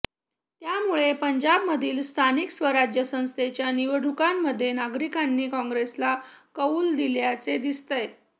त्यामुळे पंजाबमधील स्थानिक स्वराज्य संस्थेच्या निवडणुकांमध्ये नागरिकांनी काँग्रेसला कौल दिल्याचे दिसतंय